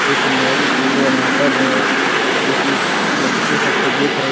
एक मैम खड़ी है वहां पर जो कि उस बच्चे सब को देख रही --